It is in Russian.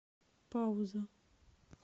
пауза